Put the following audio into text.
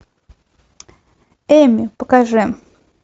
эмми покажи